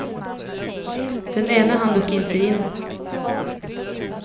Den ene hann dock inte in.